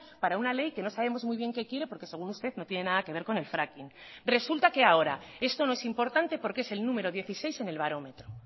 para una ley que no sabemos muy bien qué quiere porque según usted no tiene nada que ver con el fracking resulta que ahora esto no es importante porque es el número dieciséis en el barómetro